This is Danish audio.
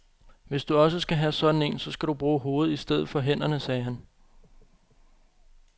Hvis du også skal have sådan en, så skal du bruge hovedet i stedet for hænderne, sagde han.